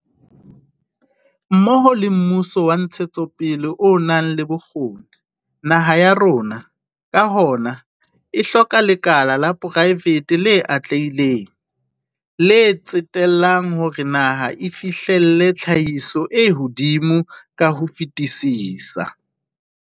Mmoho le mmuso wa ntshetsopele o nang le bokgoni, naha ya rona, ka hona, e hloka lekala la poraefete le atlehileng, le tsetellang hore naha e fihlelle tlhahiso e hodimo ka ho fetisisa.